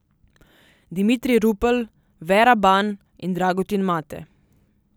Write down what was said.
Dimitrij Rupel, Vera Ban in Dragutin Mate.